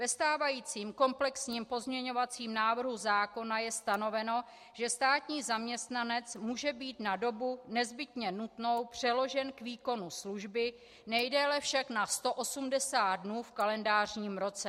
Ve stávajícím komplexním pozměňovacím návrhu zákona je stanoveno, že státní zaměstnanec může být na dobu nezbytně nutnou přeložen k výkonu služby, nejdéle však na 180 dnů v kalendářním roce.